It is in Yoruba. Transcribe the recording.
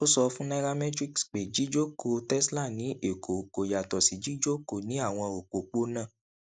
ó sọ fún nairametrics pé jíjókòó tesla ní èkó kò yàtọ sí jíjókòó ní àwọn òpópónà